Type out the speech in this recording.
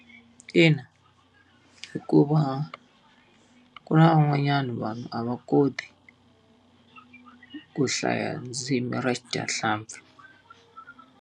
Ina, hikuva ku na van'wanyana vanhu a va koti, ku hlaya ndzimi ra xidyahlampfi.